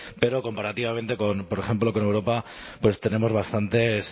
pero comparativamente con por ejemplo con europa pues tenemos bastantes